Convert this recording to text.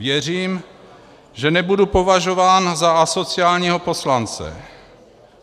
Věřím, že nebudu považován za asociálního poslance.